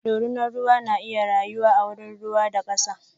ɗorinan ruwa na iya rayuwa a wurin ruwa da kasa.